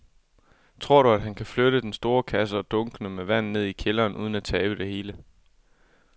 Tror du, at han kan flytte den store kasse og dunkene med vand ned i kælderen uden at tabe det hele?